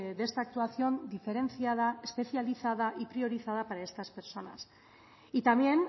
de esta actuación diferenciada especializada y priorizada para estas personas y también